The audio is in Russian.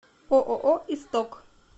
ооо исток